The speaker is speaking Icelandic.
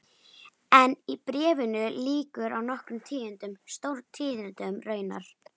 En bréfinu lýkur á nokkrum tíðindum, stórtíðindum raunar